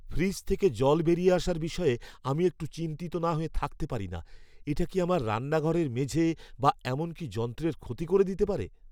Fridge থেকে জল বেরিয়ে আসার বিষয়ে আমি একটু চিন্তিত না হয়ে থাকতে পারি না, এটা কি আমার রান্নাঘরের মেঝে বা এমনকি যন্ত্রের ক্ষতি করে দিতে পারে?